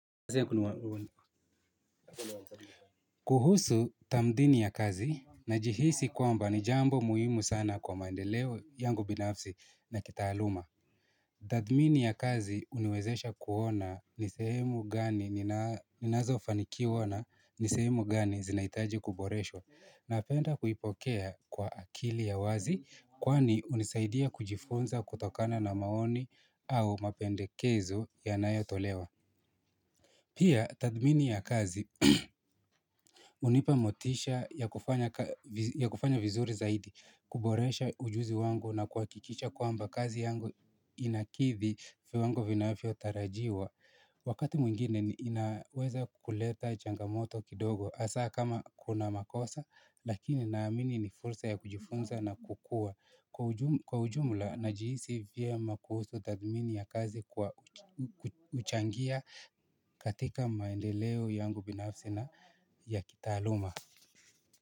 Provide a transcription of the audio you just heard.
Kuhusu tamdhini ya kazi najihisi kwamba ni jambo muhimu sana kwa maedeleo yangu binafsi na kitaaluma. Tathmini ya kazi huniwezesha kuona ni sehemu gani, ninazofanikiwa na ni sehemu gani zinahitaji kuboreshwa. Napenda kuipokea kwa akili ya wazi kwani hunisaidia kujifunza kutokana na maoni au mapendekezo yanayotolewa. Pia, tathmini ya kazi hunipa motisha ya kufanya vizuri zaidi kuboresha ujuzi wangu na kuhakikisha kwamba kazi yangu inakidhi viwango vinavyotarajiwa. Wakati mwingine ninaweza kuleta changamoto kidogo hasaa kama kuna makosa lakini naamini ni fursa ya kujifunza na kukua. Kwa ujumla najihisi vyema kuhusu tathmini ya kazi kwa kuchangia katika maendeleo yangu binafsi na ya kitaaluma.